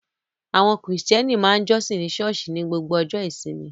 Àwọn Krìstẹ́nì ma ń jọ́sìn ní ṣọ́ọ̀ṣì ní gbogbo ọjọ́ ìsinmi